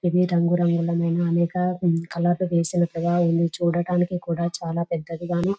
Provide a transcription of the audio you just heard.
ఇది రంగురంగుల మైన అనేక కలర్ వేసినట్లుగా ఉంది చూడటానికి కుడా చాలా పెద్దదిగాను --